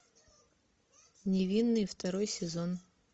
невинные второй сезон